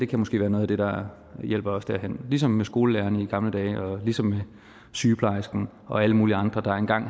kan måske være noget af det der hjælper os derhen ligesom med skolelæreren i gamle dage og sygeplejersken og alle mulige andre der engang